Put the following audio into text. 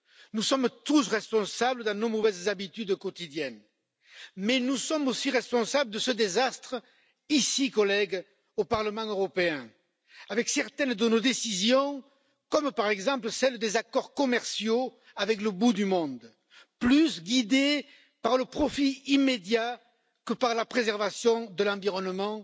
Nous sommes tous responsables dans nos mauvaises habitudes quotidiennes, mais nous sommes aussi responsables de ce désastre ici, collègues au Parlement européen, avec certaines de nos décisions, comme par exemple celle des accords commerciaux avec le bout du monde, guidés davantage par le profit immédiat que par la préservation de l'environnement